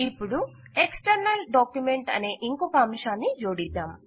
ఇపుడు external document అనే ఇంకొక అంశాన్ని జోడిద్దాం